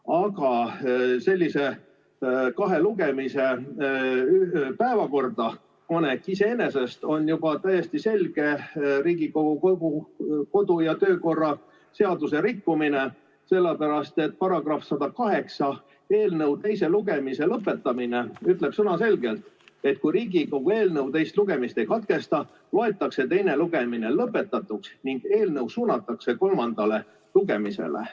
Aga sellise kahe lugemise päevakorda panek iseenesest on juba täiesti selge Riigikogu kodu- ja töökorra seaduse rikkumine, sellepärast et § 108 "Eelnõu teise lugemise lõpetamine" ütleb sõnaselgelt, et kui Riigikogu eelnõu teist lugemist ei katkesta, loetakse teine lugemine lõpetatuks ning eelnõu suunatakse kolmandale lugemisele.